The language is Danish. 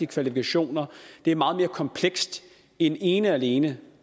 kvalifikationer det er meget mere komplekst end ene og alene